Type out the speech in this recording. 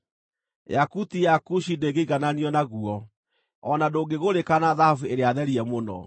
Yakuti ya Kushi ndĩngĩigananio naguo; o na ndũngĩgũrĩka na thahabu ĩrĩa therie mũno.